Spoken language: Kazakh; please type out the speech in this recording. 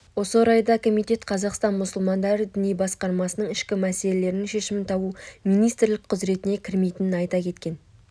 осы орайда комитет қазақстан мұсылмандары діни басқармасының ішкі мәселелерінің шешімін табу министрлік құзіретіне кірмейтінін айта кеткен